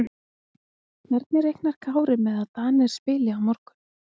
Hvernig reiknar Kári með að Danir spili á morgun?